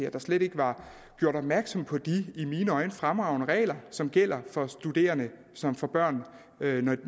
at der slet ikke var gjort opmærksom på de i mine øjne fremragende regler som gælder for studerende som får børn